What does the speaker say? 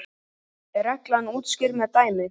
er reglan útskýrð með dæmi